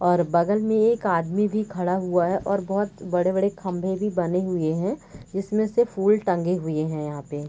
और बगल में एक आदमी भी खड़ा हुआ है और बहुत बड़े बड़े खम्बे भी बने हुए हैं इसमें से फूल टंगे हुए हैं यहाँ पे |